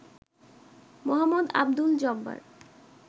Md: Abdul Jabbar